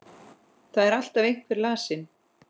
Það er alltaf einhver lasin.